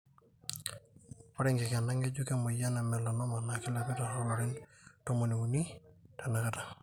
ore enkikena ngejuk emoyian e melanoma na kilepita tolarin tomon uni tenakata.